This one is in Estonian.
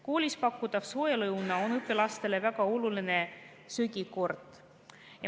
Koolis pakutav soe lõuna on õpilastele väga oluline söögikord.